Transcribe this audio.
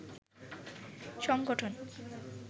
সংগঠন